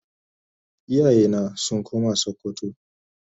iyaye na sun koma sokoto.